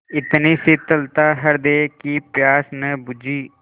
इतनी शीतलता हृदय की प्यास न बुझी